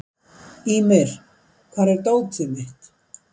Ýmir, hvar er dótið mitt?